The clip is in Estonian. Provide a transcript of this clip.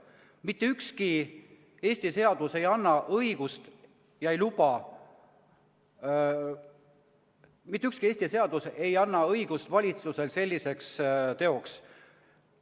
Mitte ükski Eesti seadus ei anna valitsusele õigust selliseks teoks.